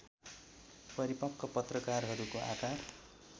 परिपक्व पत्रकहरूको आकार